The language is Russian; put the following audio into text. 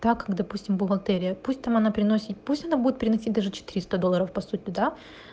так как допустим бухгалтерия пусть там она приносит пусть она будет приносить даже четыреста долларов по сути да